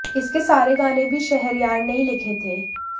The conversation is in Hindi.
इसके सारे गाने भी शहरयार ने ही लिखे थे